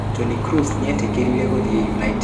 Toni Kross nĩ eetĩkĩrĩĩte gũthiĩ United.